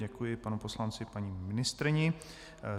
Děkuji panu poslanci, paní ministryni.